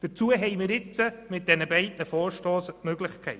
Dazu bieten die beiden Vorstösse eine Möglichkeit.